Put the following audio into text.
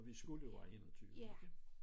Og vi skulle være 21 ikke